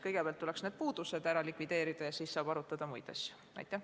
Kõigepealt tuleks need puudused likvideerida ja alles siis saab muid asju arutada.